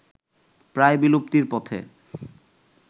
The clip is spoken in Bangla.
প্রায় বিলুপ্তির পথে